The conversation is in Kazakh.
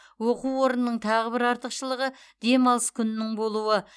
оқу орнының тағы бір артықшылығы демалыс күнінің болуы